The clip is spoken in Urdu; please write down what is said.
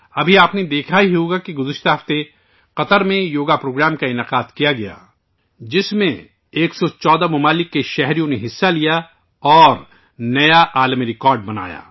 ابھی آپ نے دیکھا ہی ہوگا کہ گزشتہ ہفتے قطر میں یوگا پروگرام کا انعقاد کیا گیا ، جس میں 114 ممالک کے شہریوں نے حصہ لے کر ایک نیا عالمی ریکارڈ بنایا